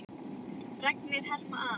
Fregnir herma að.